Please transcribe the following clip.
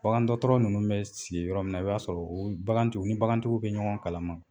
Bagandɔɔtɔrɔ nunnu bɛ sigi yɔrɔ min na i b'a sɔrɔ u bagantu u ni bagantigiw bɛ ɲɔgɔn kalama.